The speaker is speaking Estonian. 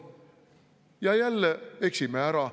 Ja jälle eksime ära.